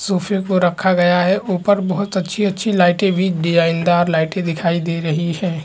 सोफे को रखा गया है ऊपर बहुत अच्छी - अच्छी लाइटे भी डिजाईनदार लाइटें दिखाई दे रही है।